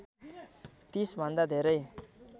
३० भन्दा धेरै